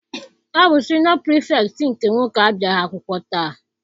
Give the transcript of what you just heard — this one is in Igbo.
Ọ bụ siniọ Pirifetktị nke nwoke abịaghị akwụkwọ taa.